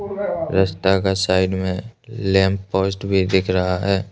रास्ता का साइड में लैंप पोस्ट भी दिख रहा है।